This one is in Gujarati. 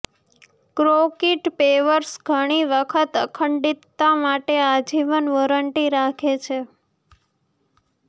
કોંક્રિટ પેવર્સ ઘણી વખત અખંડિતતા માટે આજીવન વોરંટી રાખે છે